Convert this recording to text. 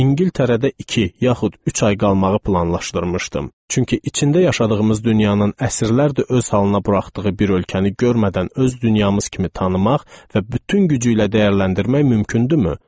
İngiltərədə iki, yaxud üç ay qalmağı planlaşdırmışdım, çünki içində yaşadığımız dünyanın əsrlərdir öz halına buraxdığı bir ölkəni görmədən öz dünyamız kimi tanımaq və bütün gücü ilə dəyərləndirmək mümkündürmü?